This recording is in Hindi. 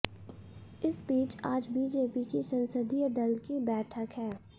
इस बीच आज बीजेपी की संसदीय दल की बैठक है